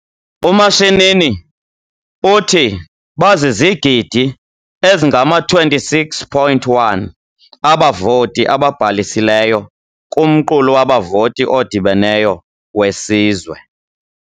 UMashinini uthi bazizigidi ezingama-26.1 abavoti ababhalisileyo kumqulu wabavoti odibeneyo wesizwe.